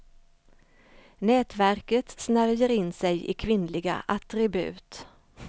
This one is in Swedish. Nätverket snärjer in sig i kvinnliga attribut.